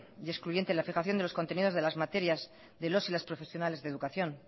y excluyente la fijación de los contenidos de las materias de los y las profesionales de educación